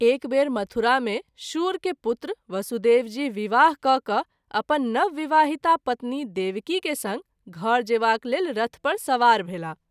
एक बेर मथुरा मे शूर के पुत्र वसुदेव जी विवाह कय क’ अपन नवविवाहिता पत्नी देवकी के संग घर जेबाक लेल रथ पर सवार भेलाह।